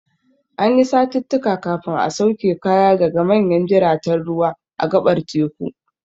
Ana yin satittika kafin a sauke kaya da manyan jiraten ruwa a gaɓar teku.